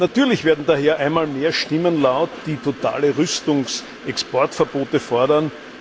Natürlich werden daher einmal mehr Stimmen laut, die totale Rüstungsexportverbote fordern.